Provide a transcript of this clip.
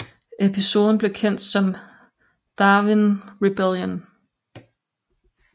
Episoden blev kendt som Darwin Rebellion